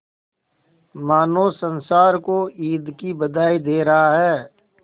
मानो संसार को ईद की बधाई दे रहा है